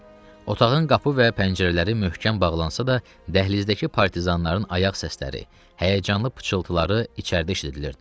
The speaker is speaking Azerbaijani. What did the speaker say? Otağın qapı və pəncərələri möhkəm bağlansa da, dəhlizdəki partizanların ayaq səsləri, həyəcanlı pıçıltıları içəridə eşidilirdi.